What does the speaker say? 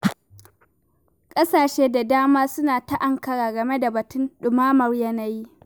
Ƙasashe da dama suna ta ankara game da batun ɗumamar yanayi.